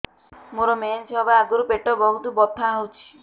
ମୋର ମେନ୍ସେସ ହବା ଆଗରୁ ପେଟ ବହୁତ ବଥା ହଉଚି